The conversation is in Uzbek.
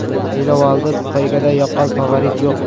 Saylovoldi poygada yaqqol favorit yo‘q.